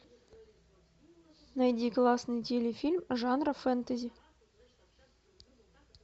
найди классный телефильм жанра фэнтези